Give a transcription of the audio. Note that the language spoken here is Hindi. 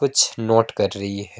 कुछ नोट कर रही है।